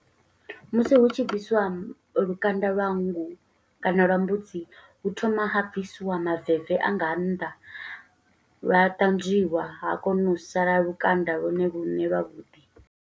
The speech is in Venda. Musi hu tshi bvisiwa lukanda lwa nngu, kana lwa mbudzi, hu thoma ha bvisiwa maveve a nga nnḓa, lwa ṱanzwiwa ha kona u sala lukanda lwone lune lwa vhuḓi.